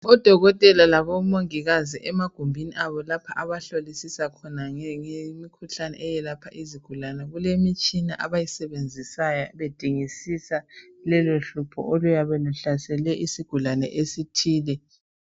Odokotela labomongikazi emagumbini abo lapha abahlolisisa khona ngemikhuhlane eyelapha izigulane kulemitshina abayisebenzisayo bedingisisa lelo hlupho oluyabe luhlasele esigulane esithile